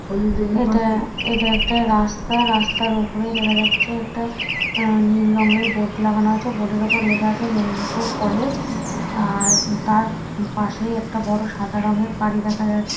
এটা এটা একটা রাস্তা রাস্তার উপরেই দেখা যাচ্ছে একটা আহ নীল রঙের বোর্ড লাগানো আছে বোর্ড -এর ওপর লেখা আছে মেদিনীপুর কলেজ আর তার পাশেই একটা বড়ো সাদা রঙের বাড়ি দেখা যাচ--